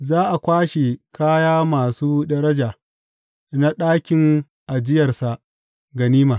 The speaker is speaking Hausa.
Za a kwashi kaya masu daraja na ɗakin ajiyarsa ganima.